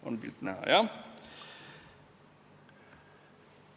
On pilt näha, jah?